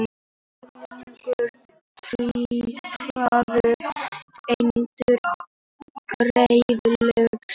Sjúklingum tryggðar endurgreiðslur